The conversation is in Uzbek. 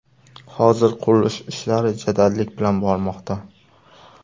Hozir qurilish ishlari jadallik bilan bormoqda.